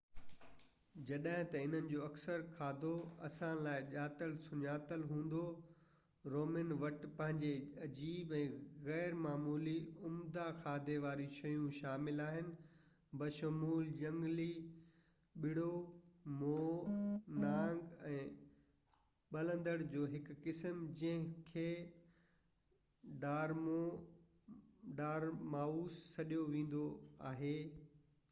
جڏجهن ته انهن جو اڪثر کاڌو اسان لاءِ ڄاتل سڃاتل هوندو رومن وٽ پنهنجي عجيب يا غير معمولي عمدو کاڌي واريون شيون شامل آهن بشمول جهنگلي ٻرڙو مور نانگ ۽ ٻلندڙ جو هڪ قسم جنهنکي ڊارمائوس سڏيو ويندو آهي